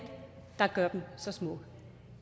der gør dem så smukke